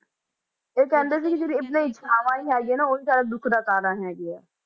ਤੇ ਕਹਿੰਦੇ ਕਿ ਜਿਹੜੀਆਂ ਆਪਣੀ ਇਛਾਵਾਂ ਹੀ ਹੈਗੀਆਂ ਨਾ ਉਹੀ ਸਾਰਾ ਦੁੱਖ ਦਾ ਕਾਰਨ ਹੈਗੀਆਂ।